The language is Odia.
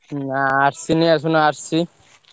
ନା ଆସୁଚି।